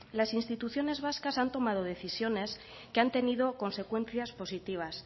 las instituciones vascas han tomado decisiones que han tenido consecuencias positivas